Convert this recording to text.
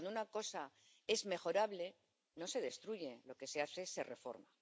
Porque cuando una cosa es mejorable, no se destruye sino que se reforma.